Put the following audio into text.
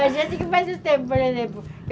A gente que faz o tempo, por exemplo.